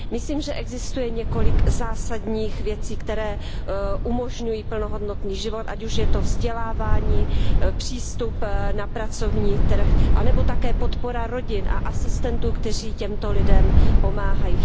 Myslím, že existuje několik zásadních věcí, které umožňují plnohodnotný život, ať už je to vzdělávání, přístup na pracovní trh anebo také podpora rodin a asistentů, kteří těmto lidem pomáhají.